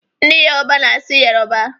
Ndị Yoroba na-asụ Yoroba.